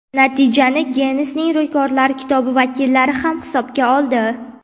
Natijani Ginnesning rekordlari kitobi vakillari ham hisobga oldi.